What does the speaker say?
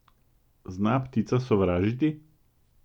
Zna ptica sovražiti?